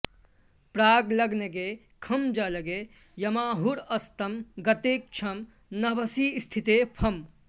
प्राग्लग्नगे खं जलगे यमाहुर् अस्तं गते छं नभसि स्थिते फम्